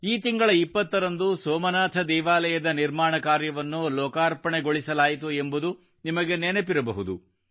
ಈ ತಿಂಗಳ 20 ರಂದು ಸೋಮನಾಥ ದೇವಾಲಯದ ನಿರ್ಮಾಣ ಕಾರ್ಯವನ್ನು ಲೋಕಾರ್ಪಣೆಗೊಳಿಸಲಾಯಿತು ಎಂಬುದು ನಿಮಗೆ ನೆನಪಿರಬಹುದು